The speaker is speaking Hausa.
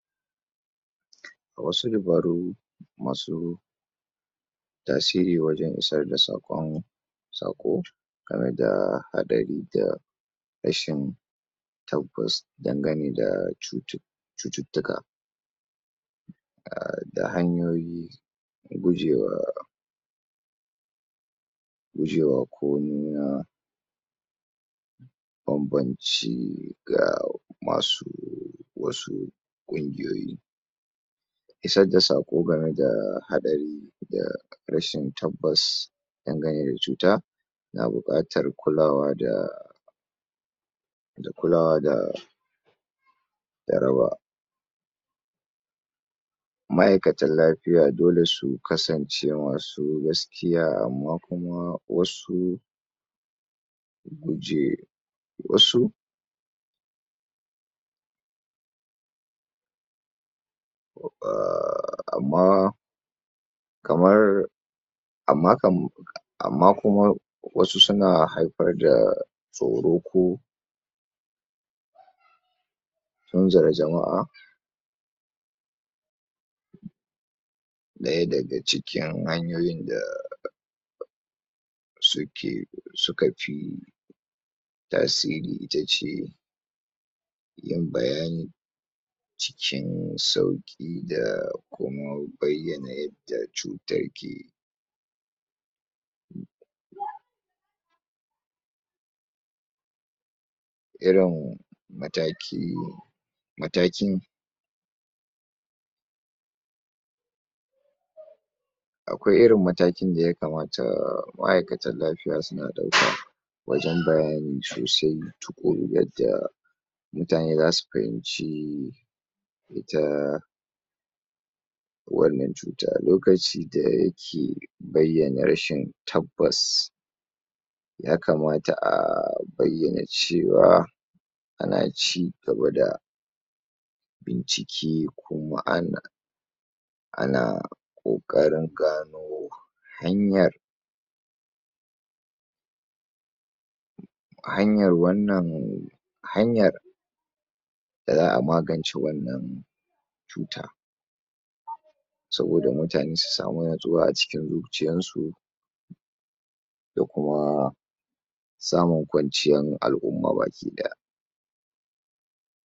A wasu dabaru masu tasiri wajen isar da saƙon saƙo tare da haɗari da rashin tabbas dangane da cutu cututtuka a da hanyoyi gujewa gujewa komi na banbanci ga masu wasu ƙungiyoyi isar da saƙo gama da haɗari da rashin tabbas dangane da cuta na buƙatar kulawa da da kulawa da da rawa ma'aikatan lafiya dole su kasance masu gaskiya amma kuma wasu guje wasu um amma kamar amma kam, amma kuma wasu suna haifar da tsoro ko tunzura jama'a na yadda daga cikin hanyoyin da suke, suka fi tasiri ita ce yin bayani cikin sauƙi da kuma bayyana yadda cutar ke irin mataki matakin akwai irin matakin da yakamata ma'aikatan lafiya suna wajen bayani sosai, tuƙuru yadda mutane zasu fahimci ita wannan cuta lokaci da yake bayyana rashin tabbas yakamata a bayyana cewa ana cigaba da bincike kuma ana ana ƙoƙarin gano hanyar a hanyar wannan hanyar da za'a magance wannan cuta saboda mutane su samu natsuwa a cikin zuciyan su da kuma samun kwanciyan al'umma bakiɗaya.